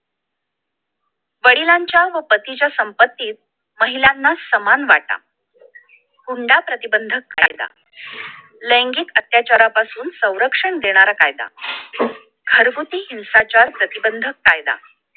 वडिलांच्या व पतीच्या संपत्तीत महिलांना समान वाटा हुंडाप्रतिबंधक कायदा लैगिक अत्याचारापासून संरक्षण देणारा कायदा घरगुती हिंसाचार प्रतिबंधक कायदा